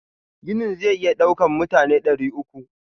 Ginin zai iya daukan mutane dari uku.